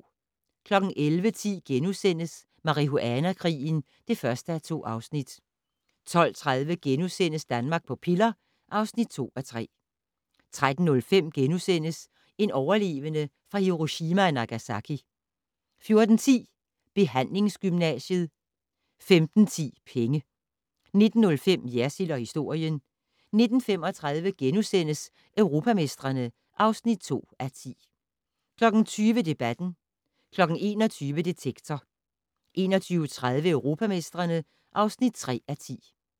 11:10: Marihuana-krigen (1:2)* 12:30: Danmark på piller (2:3)* 13:05: En overlevende fra Hiroshima og Nagasaki * 14:10: Behandlingsgymnasiet 15:10: Penge 19:05: Jersild & historien 19:35: Europamestrene (2:10)* 20:00: Debatten 21:00: Detektor 21:30: Europamestrene (3:10)